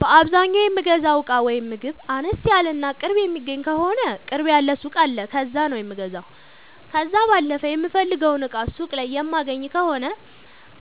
በአዛኛው የምገዛው እቃ ወይም ምግብ አነስ ያለ እና ቅርብ የሚገኝ ከሆነ ቅርብ ያለ ሱቅ አለ ከዛ ነው የምገዛው። ከዛ ባለፈ የምፈልገውን እቃ ሱቅ ላይ የማይገኝ ከሆነ